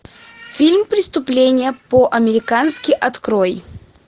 фильм преступление по американски открой